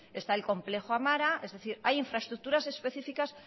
está el complejo amara es decir hay infraestructuras específicas